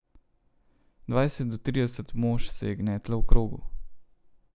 Dvajset do trideset mož se je gnetlo v krogu.